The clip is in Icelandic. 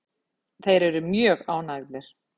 Þeir eru mjög ánægðir.